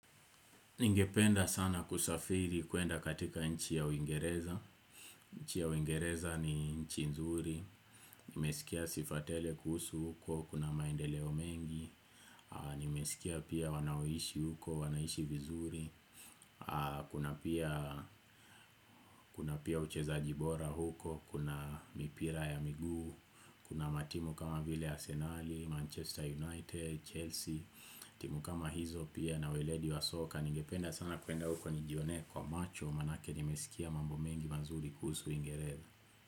Ningependa sana kusafiri kuenda katika nchi ya uingereza, nchi ya uingereza ni nchi nzuri, nimesikia sifa tele kuhusu huko, kuna maendeleo mengi, nimesikia pia wanaoishi huko, wanaishi vizuri, kuna pia uchezaji bora huko, kuna mipira ya miguu, kuna matimu kama vile Arsenal, Manchester United, Chelsea, timu kama hizo pia na weledi wa soka. Ningependa sana kwenda uko nijionee kwa macho maanake nimeskia mambo mengi mazuri kuhusu Uingereza.